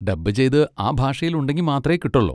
Dub ചെയ്ത് ആ ഭാഷയിൽ ഉണ്ടെങ്കി മാത്രേ കിട്ടൊള്ളൂ.